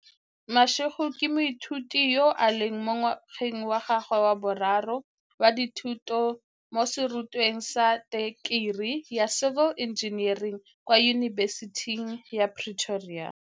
Mashego ke moithuti yo a leng mo ngwageng wa gagwe wa boraro wa dithuto mo serutweng sa tekerii ya civil engineering kwa Yunibesiting ya Pretoria.